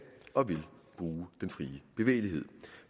og vil bruge den frie bevægelighed